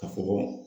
Ka fɔ ko